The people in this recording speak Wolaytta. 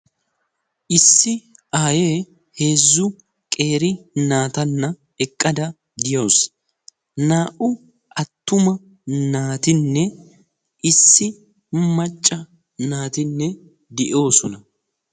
issi aaye heezzu qeeri naatanna eqqada de'awusu. naa"u attuma naatinne issi macca naatinne de'oosona.